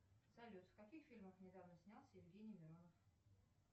салют в каких фильмах недавно снялся евгений миронов